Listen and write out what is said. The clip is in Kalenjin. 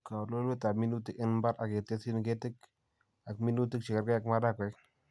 Kawelweletab minutik en mbar ak ketesyin ketik ak minutik chekerge ak Marakwek